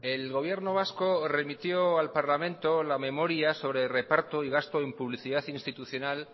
el gobierno vasco remitió al parlamento la memoria sobre el reparto y gasto en publicidad institucional